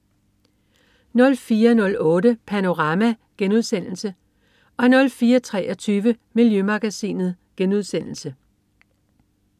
04.08 Panorama* 04.23 Miljømagasinet*